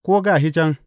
Ko, Ga shi can!’